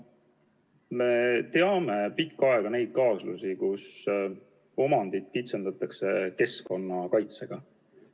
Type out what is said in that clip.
Me teame ammu neid kaasusi, mille puhul omandit kitsendatakse keskkonnakaitsega.